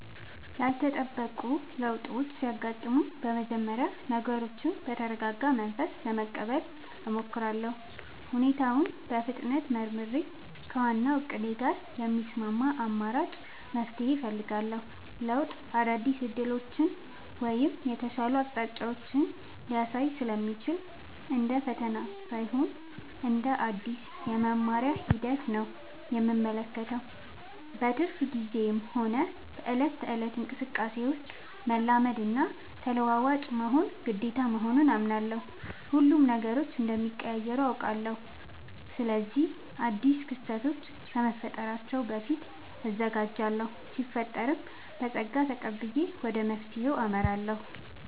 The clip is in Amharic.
ያልተጠበቁ ለውጦች ሲያጋጥሙኝ በመጀመሪያ ነገሮችን በተረጋጋ መንፈስ ለመቀበል እሞክራለሁ። ሁኔታውን በፍጥነት መርምሬ፣ ከዋናው እቅዴ ጋር የሚስማማ አማራጭ መፍትሄ እፈልጋለሁ። ለውጥ አዳዲስ ዕድሎችን ወይም የተሻሉ አቅጣጫዎችን ሊያሳይ ስለሚችል፣ እንደ ፈተና ሳይሆን እንደ አዲስ የመማሪያ ሂደት ነው የምመለከተው። በትርፍ ጊዜዬም ሆነ በዕለት ተዕለት እንቅስቃሴዬ ውስጥ፣ መላመድና ተለዋዋጭ መሆን ግዴታ መሆኑን አምናለሁ። ሁሌም ነገሮች እንደሚቀያየሩ አውቃለሁ። ስለዚህ አዳዲስ ክስተቶች ከመፈጠራቸው በፊት እዘጋጃለሁ ሲፈጠርም በፀጋ ተቀብዬ ወደ መፍትሄው አመራለሁ።